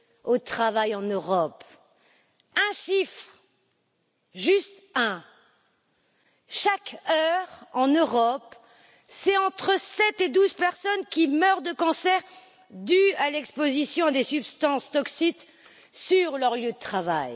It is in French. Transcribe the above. au travail en Europe. Un chiffre, juste un chaque heure en Europe, c'est entre 7 et 12 personnes qui meurent de cancer dû à l'exposition à des substances toxiques sur leur lieu de travail.